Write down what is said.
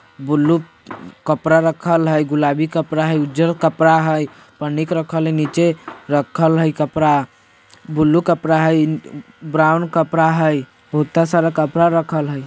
ब्लू कपड़ा रखल हई गुलाबी कपड़ा हई उजला कपड़ा हई पनिक रखल हई नीचे रखल हई कपड़ा ब्लू कपड़ा हई ब्राउन कपड़ा हई बहुता सारा कपड़ा रखल हई।